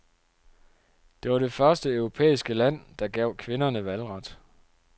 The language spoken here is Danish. Det var det første europæiske land, der gav kvinderne valgret.